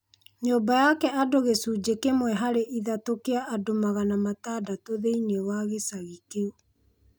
Nyũmba yake andũgĩcunji kĩmwe harĩ ithatũkĩa andũmagana matandatũthĩiniĩ wa gĩcagi kĩu.